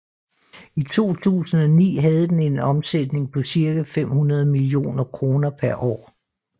I 2009 havde den en omsætning på cirka femhundrede millioner kroner per år